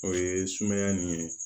O ye sumaya nin ye